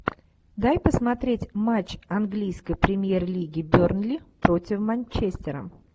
дай посмотреть матч английской премьер лиги бернли против манчестера